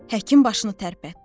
Həkim başını tərpətdi.